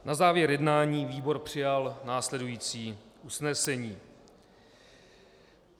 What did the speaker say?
Na závěr jednání výbor přijal následující usnesení.